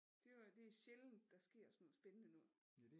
Det var det er sjældent der sker sådan noget spændende noget